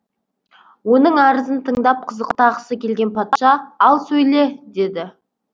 оның арызын тыңдап қызықтағысы келген патша ал сөйле деді